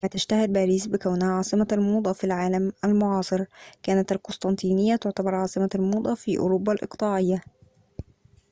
كما تشتهر باريس بكونها عاصمة الموضة في العالم المعاصر كانت القسطنطينيّة تُعتبر عاصمة الموضة في أوروبا الإقطاعيّة